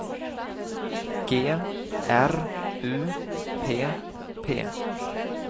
G R U P P